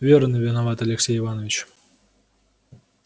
верно виноват алексей иваныч